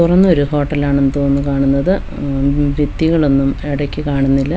തുറന്നൊരു ഹോട്ടലാണെന്ന് തോന്നുന്നു കാണുന്നത് ഉം ഭിത്തികളൊന്നും എടയ്ക്ക് കാണുന്നില്ല.